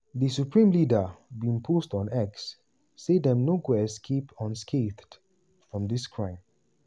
di supreme leader bin post on x say dem no "go escape unscathed from dis crime".